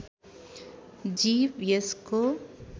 जीव यसको